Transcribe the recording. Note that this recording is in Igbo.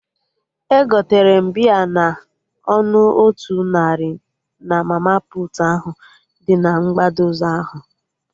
Egotere m bịa na ọnụ otu narị na mama puutu ahụ dị na mgbada ụzọ ahụ